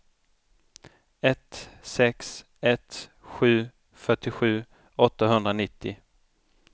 ett sex ett sju fyrtiosju åttahundranittio